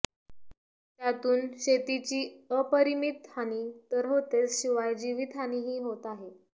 त्यातून शेतीची अपरिमीत हानी तर होतेच शिवाय जीवितहानीही होत आहे